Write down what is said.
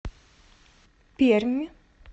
пермь